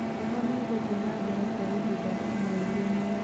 Heho nĩ ĩgũthiĩ na mbere kwa ihinda rĩa mweri ũmwe.